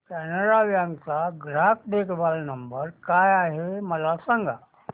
Canara bank चा ग्राहक देखभाल नंबर काय आहे मला सांगा